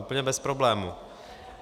Úplně bez problému.